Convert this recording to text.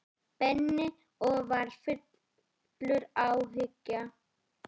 Benni og var fullur áhuga.